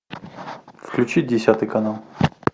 включи десятый канал